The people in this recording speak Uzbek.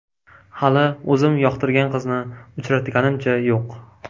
Hali o‘zim yoqtirgan qizni uchratganimcha yo‘q.